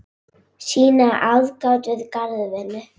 sýna aðgát við garðvinnu